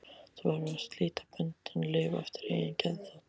Þú verður að slíta böndin, lifa eftir eigin geðþótta.